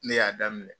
Ne y'a daminɛ